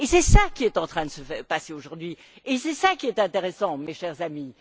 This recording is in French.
C'est ce qui est en train de se passer aujourd'hui et c'est ce qui est intéressant, mes chers amis.